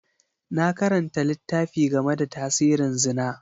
Na karanta littafi game da tasirin Zina.